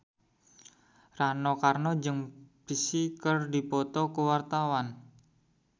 Rano Karno jeung Psy keur dipoto ku wartawan